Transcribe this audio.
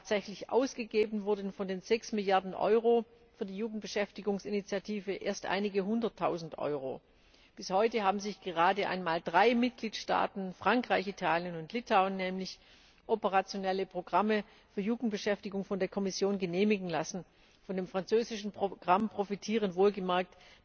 Tatsächlich ausgegeben wurden von den 6 Milliarden Euro für die Jugendbeschäftigungsinitiative erst einige Hunderttausend Euro. Bis heute haben sich gerade einmal drei Mitgliedstaaten Frankreich, Italien und Litauen operationelle Programme für Jugendbeschäftigung von der Kommission genehmigen lassen. Von dem französischen Programm profitieren wohlgemerkt